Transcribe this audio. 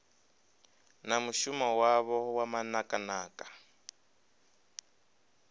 na mushumo wavho wa manakanaka